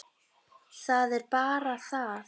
Það er bara það!